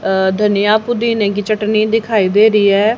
अ धनिया पुदीने की चटनी दिखाई दे रही है।